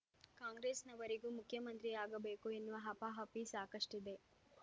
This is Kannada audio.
ಕಾಂಗ್ರೆಸ್‌ನವರಿಗೂ ಮುಖ್ಯಮಂತ್ರಿಯಾಗಬೇಕು ಎನ್ನುವ ಹಪಾಹಪಿ ಸಾಕಷ್ಟಿದೆ